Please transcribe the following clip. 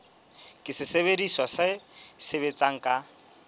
ke sesebediswa se sebetsang ka